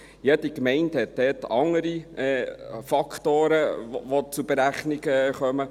Jede Gemeinde hat dort andere Faktoren, die zur Berechnung kommen.